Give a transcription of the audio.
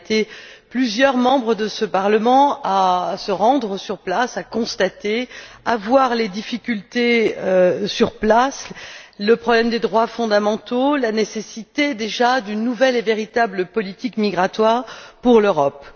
Nous avons été plusieurs membres de ce Parlement à nous rendre sur place, à constater et à voir les difficultés sur le terrain le problème des droits fondamentaux, la nécessité, déjà, d'une nouvelle et véritable politique migratoire pour l'Europe.